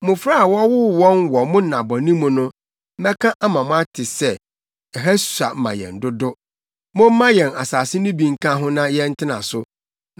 Mmofra a wɔwoo wɔn wɔ mo nna bɔne mu no bɛka ama moate sɛ, ‘Ɛha sua ma yɛn dodo; momma yɛn asase no bi nka ho na yɛntena so.’